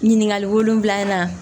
Ɲininkali wolonfila in na